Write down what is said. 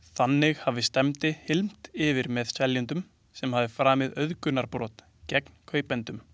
Þannig hafi stefndi hylmt yfir með seljendum sem hafi framið auðgunarbrot gegn kaupendum.